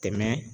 Tɛmɛ